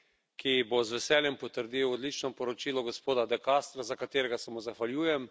ki bo z veseljem potrdil odlično poročilo gospoda De Castra, za katerega se mu zahvaljujem.